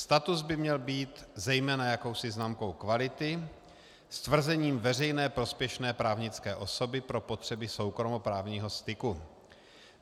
Status by měl být zejména jakousi známkou kvality, stvrzením veřejné prospěšné právnické osoby pro potřeby soukromoprávního styku.